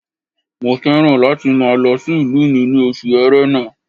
Mo fẹ́ràn láti máa lọ sí ìlú mi ní oṣù ẹrẹ́nà